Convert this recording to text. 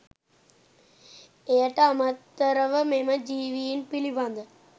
එයට අමතරව මෙම ජීවීන් පිළිබඳ